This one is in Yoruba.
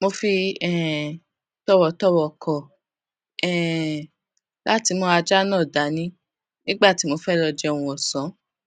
mo fi um tòwòtòwò kò um láti mú ajá náà dání nígbà tí mo bá fé lọ jẹun òsán